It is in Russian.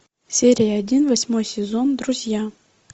серия один восьмой сезон друзья